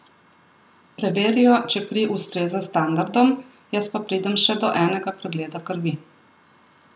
Preverijo, če kri ustreza standardom, jaz pa pridem še do enega pregleda krvi.